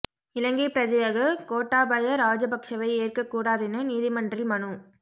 இலங்கை பிரஜையாக கோட்டாபய ராஜபக்ஷவை ஏற்க கூடாதென நீதிமன்றில் மனு